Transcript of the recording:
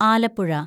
Alappuzha